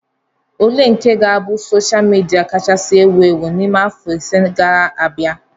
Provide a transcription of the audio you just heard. Ole nke ga-abụ sosha midia kachasị ewu ewu n'ime afọ ise ga-abia?